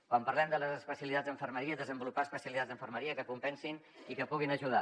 quan parlem de les especialitats d’infermeria desenvolupar especialitats d’infermeria que compensin i que puguin ajudar